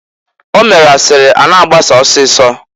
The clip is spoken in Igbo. O mere asịrị a na-agbasa ọsịịsọ.